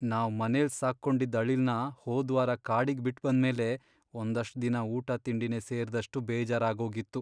ನಾವ್ ಮನೆಲ್ ಸಾಕ್ಕೊಂಡಿದ್ದ್ ಅಳಿಲ್ನ ಹೋದ್ವಾರ ಕಾಡಿಗ್ ಬಿಟ್ಬಂದ್ಮೇಲೆ ಒಂದಷ್ಟ್ ದಿನ ಊಟ ತಿಂಡಿನೇ ಸೇರ್ದಷ್ಟು ಬೇಜಾರಾಗೋಗಿತ್ತು.